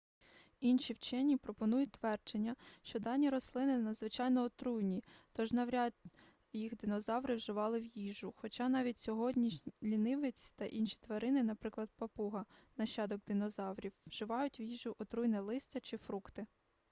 інші вчені пропонують твердження що дані рослини надзвичайно отруйні тож навряд їх динозаври вживали в їжу хоча навіть сьогодні лінивець та інші тварини наприклад папуга нащадок динозаврів вживають в їжу отруйне листя чи фрукти